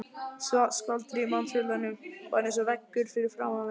Skvaldrið í mannfjöldanum var eins og veggur fyrir aftan mig.